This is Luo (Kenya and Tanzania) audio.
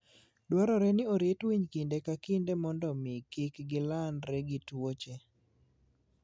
Dwarore ni orit winy kinde ka kinde mondo mi kik gilandre gi tuoche.